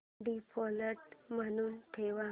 default म्हणून ठेव